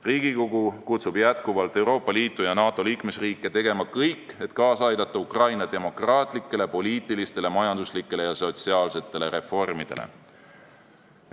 Riigikogu kutsub jätkuvalt Euroopa Liitu ja NATO liikmesriike tegema kõik, et kaasa aidata Ukraina demokraatlikele, poliitilistele, majanduslikele ja sotsiaalsetele reformidele.